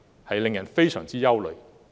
這令人非常憂慮。